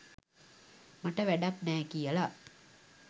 මට වැඩක් නෑ කියලා.